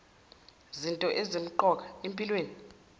zinto ezisemqoka empilweni